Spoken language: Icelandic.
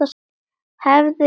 Hefði getað.